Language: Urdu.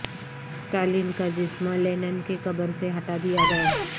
اسٹالین کا جسم لینن کے قبر سے ہٹا دیا گیا